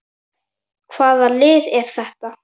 Hvaða lið er þetta?